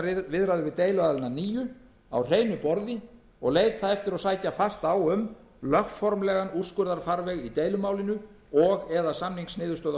við deiluaðilana að nýju á hreinu borði og leita eftir og sækja fast á um lögformlegan úrskurðarfarveg í deilumálinu og eða samningsniðurstöðu